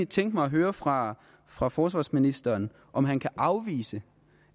tænke mig at høre fra fra forsvarsministeren om han kan afvise